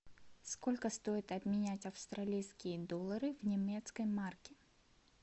сколько стоит обменять австралийские доллары в немецкие марки